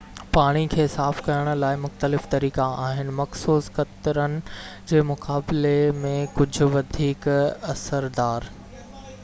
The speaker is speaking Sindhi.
پاڻي کي صاف ڪرڻ لاءِ مختلف طريقا آهن مخصوص خطرن جي مقابلي ۾ ڪجهہ وڌيڪ اثردار